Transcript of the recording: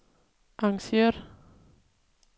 arrangeret